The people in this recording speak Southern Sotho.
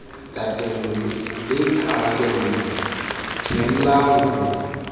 tatello le karabelo phehella ho